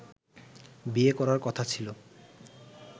বিয়ে করার কথা ছিলো